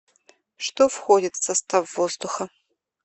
что входит в состав воздуха